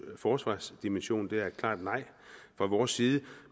forsvarsdimension det er et klart nej fra vores side